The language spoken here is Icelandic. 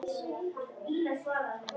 Loksins snerum við aftur heim.